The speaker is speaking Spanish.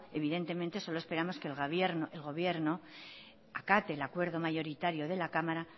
evidentemente solo esperamos que el gobierno acate el acuerdo mayoritario de la cámara